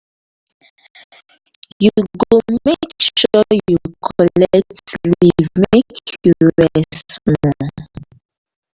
you go make sure sey you collect leave make you rest small.